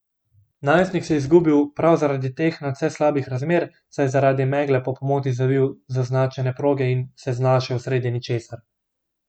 Najstnik se je izgubil prav zaradi teh nadvse slabih razmer, saj je zaradi megle po pomoti zavil z označene proge in se znašel sredi ničesar.